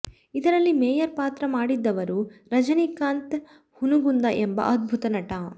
ಇದರಲ್ಲಿ ಮೇಯರ್ ಪಾತ್ರ ಮಾಡಿದ್ದವರು ರಜನೀಕಾಂತ್ ಹುನಗುಂದ ಎಂಬ ಅದ್ಭುತ ನಟ